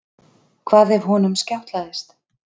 Hvað ef honum skjátlaðist?